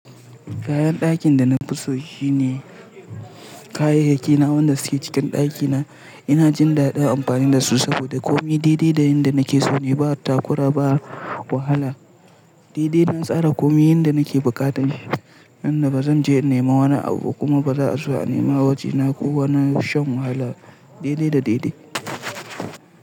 Kayan dakin da na fi so shine kayayyaki na wanda suke cikin ɗakina. Ina jin daɗin amfani da su saboda komai daidai da yadda nake so ne. Ba takura ba wahala. Daidai na tsara komai yanda nake buƙata, yan da ba zan je in nema wani abu ba kuma ba za'a zo a nema waje na ko wani shan wahala. Daidai da daidai.